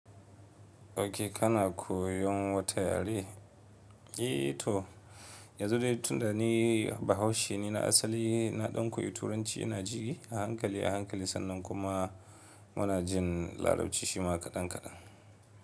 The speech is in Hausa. Okay kana koyon wata yare? Eh to yanzu dai tun da ni bahaushe ne na asali na ɗan koyi turanci ina ji a hankali a hankali sannan kuma muna jin larabci shima kaɗan kaɗan.